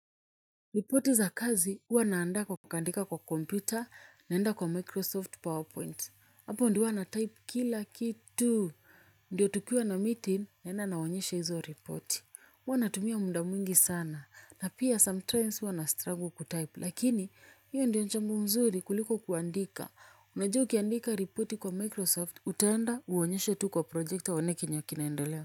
Ripoti za kazi, huwa naanda kwa kandika kwa kompyuta, naenda kwa Microsoft PowerPoint. Hapo ndo huwa natype kila kitu. Ndiyo tukiwa na meeting, naenda naonyesha hizo ripoti. Huwa natumia muda mwingi sana. Na pia sometimes huwa na struggle kutype. Lakini, hiyo ndio njambu mzuri kuliko kuandika. Unajua ukiandika ripoti kwa Microsoft, utaenda uonyeshe tu kwa projekta uone kenye kinaendelea.